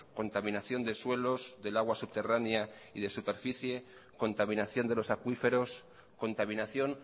contaminación de suelos del agua subterránea y de superficie contaminación de los acuíferos contaminación